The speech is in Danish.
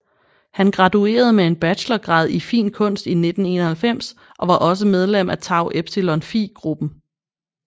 Han graduerede med en bachelorgrad i fin kunst i 1991 og var også medlem af Tau Epsilon Phi gruppen